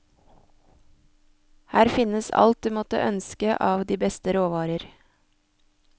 Her finnes alt du måtte ønske av de beste råvarer.